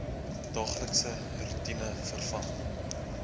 daaglikse roetine verg